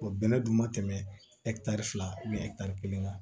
bɛnɛ dun ma tɛmɛ fila kelen kan